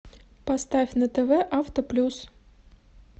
поставь на тв автоплюс